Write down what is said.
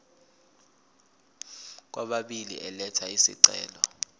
kwababili elatha isicelo